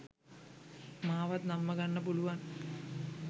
මාවත් නම්මාගන්න පුළුවන්